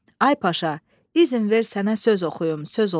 “Ay Paşa, izin ver sənə söz oxuyum, söz olsun.